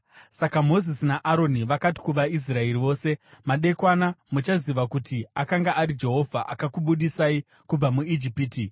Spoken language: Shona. Saka Mozisi naAroni vakati kuvaIsraeri vose, “Madekwana muchaziva kuti akanga ari Jehovha akakubudisai kubva muIjipiti,